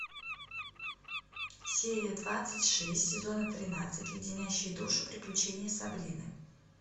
серия двадцать шесть сезона тринадцать леденящие душу приключения сабрины